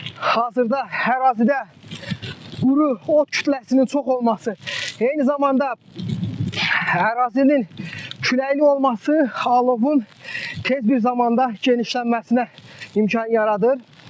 Hazırda ərazidə quru ot kütləsinin çox olması, eyni zamanda ərazinin küləkli olması alovun tez bir zamanda genişlənməsinə imkan yaradır.